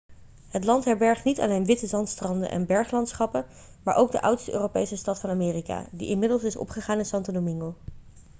het land herbergt niet alleen witte zandstranden en berglandschappen maar ook de oudste europese stad van amerika die inmiddels is opgegaan in santo domingo